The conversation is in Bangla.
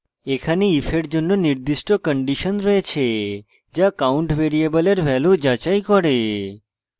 এখানে if এর জন্য নির্দিষ্ট condition রয়েছে যা count ভ্যারিয়েবলের value যাচাই করে